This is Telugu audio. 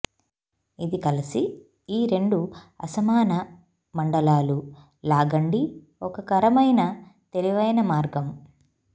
ఇది కలిసి ఈ రెండు అసమాన మండలాలు లాగండి ఒక కరమైన తెలివైన మార్గం